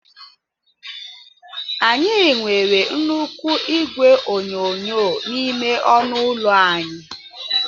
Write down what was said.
Anyị nwere nnukwu igwe onyonyo n'ime ọnụ ụlọ anyị.